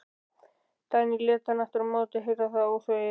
Dagný lét hann aftur á móti heyra það óþvegið.